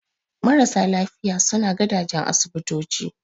Marasa lafiya suna gadajen asibitoci